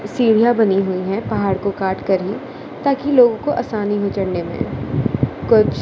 सीढ़ियां बनी हुई है पहाड़ को काटकर ये ताकि लोगों को आसानी हो चढ़ने में कुछ--